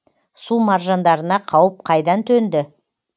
су маржандарына қауіп қайдан төнді